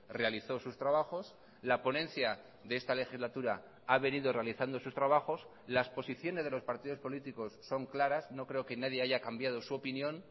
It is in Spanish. realizó sus trabajos la ponencia de esta legislatura ha venido realizando sus trabajos las posiciones de los partidos políticos son claras no creo que nadie haya cambiado su opinión